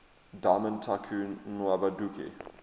diamond tycoon nwabudike